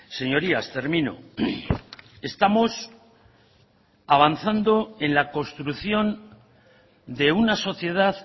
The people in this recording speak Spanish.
señorías termino estamos avanzando en la construcción de una sociedad